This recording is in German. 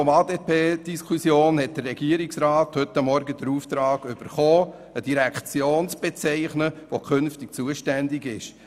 Im Rahmen der ADT-Diskussion hat der Regierungsrat heute Morgen den Auftrag erhalten, eine Direktion zu bezeichnen, die künftig zuständig sein soll.